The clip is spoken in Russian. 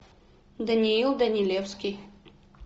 даниил данилевский